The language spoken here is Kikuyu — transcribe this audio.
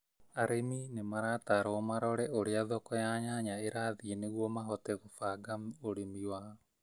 Arĩmi nĩ maratarũo marore ũrĩa thoko ya nyanya ĩrathiĩ nĩguo mahote gũbange ũrimi wao